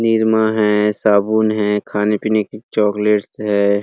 निरमा है साबुन है खाने पीने की चॉक्लेट्स है।